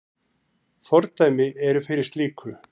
Fordæmi eru fyrir slíku.